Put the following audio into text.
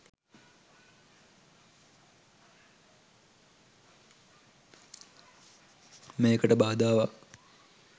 මේකට බාධාවක්.